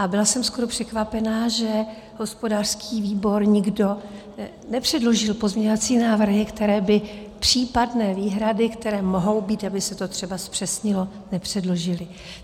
A byla jsem skoro překvapená, že hospodářský výbor, nikdo nepředložil pozměňovací návrhy, které by případné výhrady, které mohou být, aby se to třeba zpřesnilo, nepředložil.